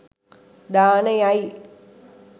දානය යි.